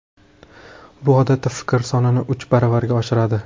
Bu, odatda, fikrlar sonini uch baravarga oshiradi.